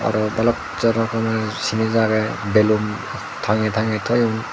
te balok zador honhon jinis aggey bellun tange tange toyon.